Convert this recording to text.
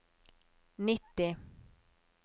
nitti